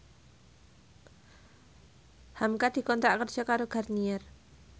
hamka dikontrak kerja karo Garnier